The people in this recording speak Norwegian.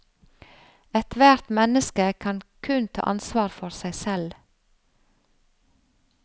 Ethvert menneske kan kun ta ansvar for seg selv.